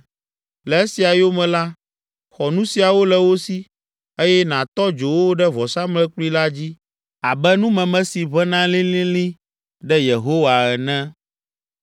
Le esia yome la, xɔ nu siawo le wo si, eye nàtɔ dzo wo ɖe vɔsamlekpui la dzi abe numeme si ʋẽna lĩlĩlĩ ɖe Yehowa ene.